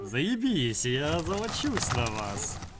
заебись я озолочусь на вас